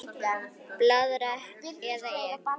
Blaðra eða Ek?